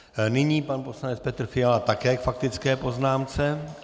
Nyní pan poslanec Petr Fiala také k faktické poznámce.